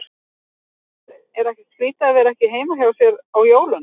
Hafsteinn: Er ekkert skrýtið að vera ekki heima hjá sér á jólunum?